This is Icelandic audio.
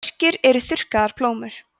sveskjur eru þurrkaðar plómur